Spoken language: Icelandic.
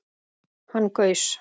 Hann gaus